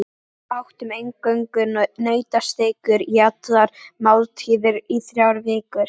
Við átum eingöngu nautasteikur í allar máltíðir í þrjár vikur.